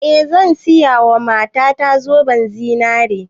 Eh zan siya wa mata ta zoben zinare